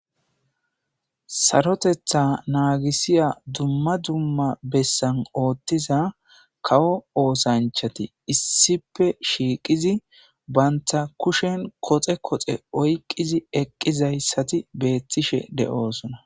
sarotetha naagisiya dumma dumma bessan ooththiza kawo oosanchati issife shiiqidi banta kushen koxe koxe oykidi eqqizayssati beettishe de7oosona